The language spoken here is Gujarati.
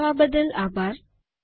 જોડવા બદલ આભાર